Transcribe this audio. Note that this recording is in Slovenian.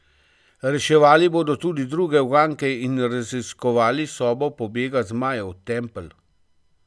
Reševali bodo tudi druge uganke in raziskovali sobo pobega Zmajev tempelj.